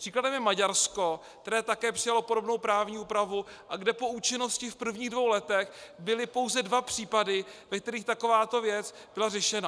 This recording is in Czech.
Příkladem je Maďarsko, které také přijalo podobnou právní úpravu a kde po účinnosti v prvních dvou letech byly pouze dva případy, ve kterých takováto věc byla řešena.